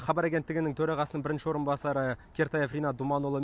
хабар агенттігінің төрағасының бірінші орынбасары кертаев ринат думанұлы